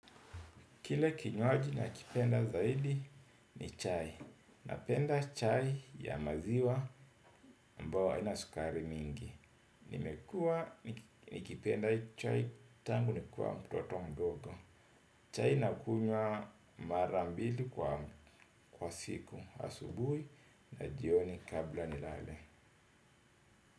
Kile kinywaji na kipenda zaidi ni chai. Napenda chai ya maziwa ambayo haina sukari mingi. Nimekua nikipenda chai tangu nikua mtoto mdogo. Chai na kunywa mara mbili kwa siku asubuhi na jioni kabla nilale.